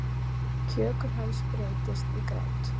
Kjökur hans breytist í grát.